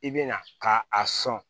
I bɛ na ka a sɔn